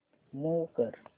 move कर